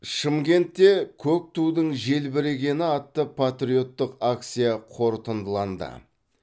шымкентте көк тудың желбірегені атты патриоттық акция қорытындыланды